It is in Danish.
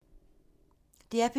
DR P2